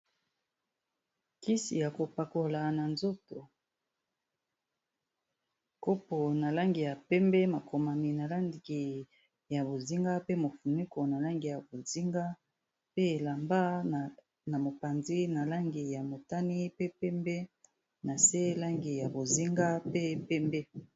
Kisi ya kopakola na nzoto kopo na langi ya pembe makomami na landi ya bozinga pe mofunuko na langi ya bozinga pe elamba na mopanzi na langi ya motani pe pembe na se langi ya bozinga pe pembe.